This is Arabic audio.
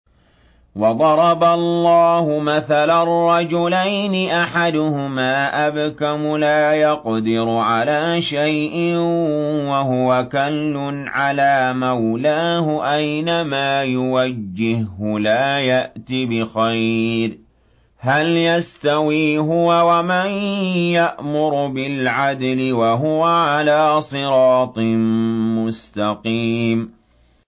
وَضَرَبَ اللَّهُ مَثَلًا رَّجُلَيْنِ أَحَدُهُمَا أَبْكَمُ لَا يَقْدِرُ عَلَىٰ شَيْءٍ وَهُوَ كَلٌّ عَلَىٰ مَوْلَاهُ أَيْنَمَا يُوَجِّههُّ لَا يَأْتِ بِخَيْرٍ ۖ هَلْ يَسْتَوِي هُوَ وَمَن يَأْمُرُ بِالْعَدْلِ ۙ وَهُوَ عَلَىٰ صِرَاطٍ مُّسْتَقِيمٍ